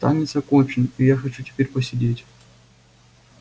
танец окончен и я хочу теперь посидеть